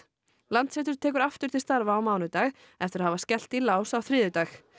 Landsréttur tekur aftur til starfa á mánudag eftir að hafa skellt í lás á þriðjudag